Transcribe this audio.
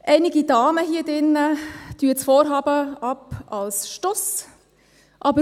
Einige Damen hier im Saal tun das Vorhaben als Stuss ab.